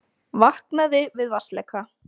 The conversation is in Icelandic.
Vaknaði við vatnsleka